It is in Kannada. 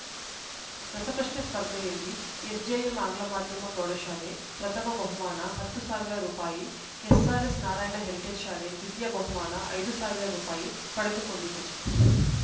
ರಸಪ್ರಶ್ನೆ ಸ್ಪರ್ಧೆಯಲ್ಲಿ ಎಸ್‌ಜೆಎಂ ಆಂಗ್ಲಮಾಧ್ಯಮ ಪ್ರೌಢಶಾಲೆ ಪ್ರಥಮ ಬಹುಮಾನ ಹತ್ತು ಸಾವಿರ ರೂಪಾಯಿ ಎಸ್‌ಆರ್‌ಎಸ್‌ ನಾರಾಯಣ ಹೆರಿಟೇಜ್‌ ಶಾಲೆ ದ್ವಿತೀಯ ಬಹುಮಾನ ಐದು ಸಾವಿರ ರೂಪಾಯಿ ಪಡೆದುಕೊಂಡಿತು